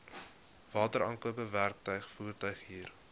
wateraankope werktuig voertuighuur